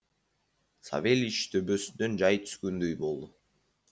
савельич төбесінен жай түскендей болды